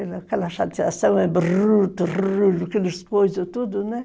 Aquela chateação é bruto aquelas coisas, tudo, né?